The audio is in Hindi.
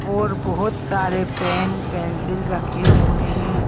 और बहोत सारे पेन पेंसिल रखे हुए हैं।